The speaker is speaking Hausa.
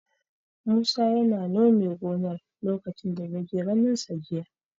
Musa yana nome gonar lokacin da na je ganinsa jiya.